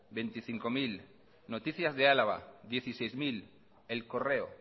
veinticinco mil noticias de álava dieciséis mil el correo